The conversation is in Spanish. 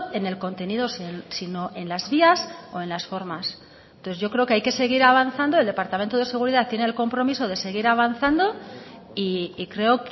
en el contenido sino en las vías o en las formas entonces yo creo que hay que seguir avanzando el departamento de seguridad tiene el compromiso de seguir avanzando y creo